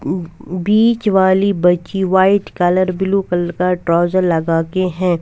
बीच वाली बच्ची white colour blue colour का ट्रॉउज़र लगाके है।